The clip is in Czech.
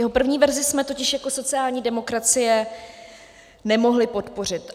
Jeho první verzi jsme totiž jako sociální demokracie nemohli podpořit.